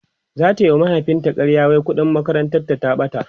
zata wa mahaifin ta ƙarya wai ƙuɗin makarantar ta ta ɓata